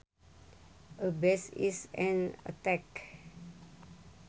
A bash is an attack